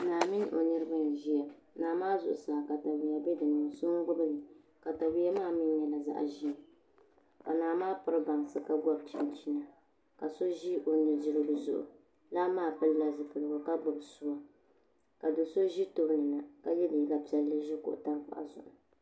Naa mini o niraba n ʒiya naa maa zuɣusaa katawiya n bɛ dinni so n gbubili katawiya maa mii nyɛla zaɣ ʒiɛ ka naa maa piri bansi ka gobi chinchini ka so ʒi o nudirigu zuɣu dilan maa pilila zipiligu ka gbubi suwa ka do so ʒi tooni na ka yɛ liiga piɛlli ʒi kuɣu tankpaɣu zuɣu